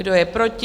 Kdo je proti?